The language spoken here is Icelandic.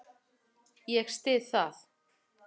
Ég styð það.